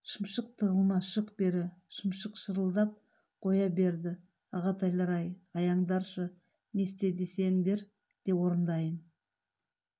шымшық тығылма шық бері шымшық шырылдап қоя берді ағатайлар-ай аяңдаршы не істе десеңдер де орындайын